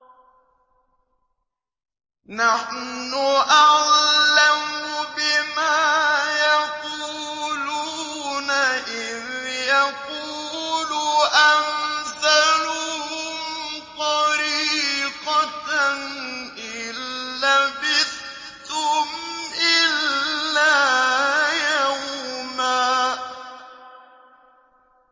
نَّحْنُ أَعْلَمُ بِمَا يَقُولُونَ إِذْ يَقُولُ أَمْثَلُهُمْ طَرِيقَةً إِن لَّبِثْتُمْ إِلَّا يَوْمًا